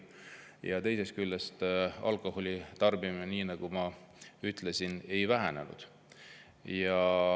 Ja teisest küljest, alkoholi tarbimine, nagu ma ütlesin, ei ole vähenenud.